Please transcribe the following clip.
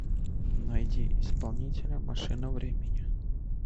найди исполнителя машина времени